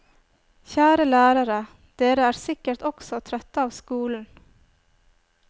Kjære lærere, dere er sikkert også trøtte av skolen.